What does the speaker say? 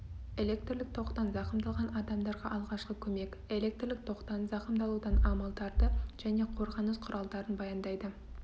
электрлік токтан зақымдалған адамдарға алғашқы көмек электрлік токтан зақымдалудан амалдарды және қорғаныс құралдарын баяндайды